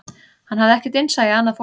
Hann hafði ekkert innsæi í annað fólk